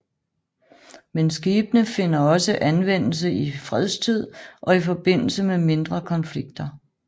Men skibene finder også anvendelse i fredstid og i forbindelse med mindre konflikter